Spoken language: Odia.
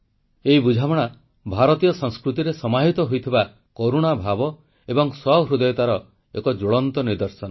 ଏଇ ବୁଝାମଣା ଭାରତୀୟ ସଂସ୍କୃତିରେ ସମାହିତ ହୋଇଥିବା କରୁଣା ଭାବ ଏବଂ ସହୃଦୟତାର ଏକ ଜ୍ୱଳନ୍ତ ନିଦର୍ଶନ